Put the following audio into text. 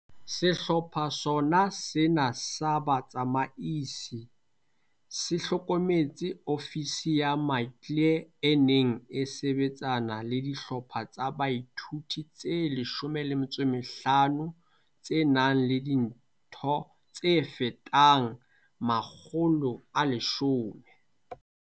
Sehlopha sona sena sa batsamaisi se hlokometse ofisi ya Maclear e neng e sebetsana le dihlopha tsa boithuto tse 15, tse nang le ditho tse fetang 1 000.